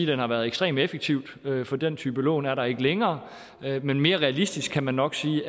den har været ekstremt effektiv for den type lån er der ikke længere men mere realistisk kan man nok sige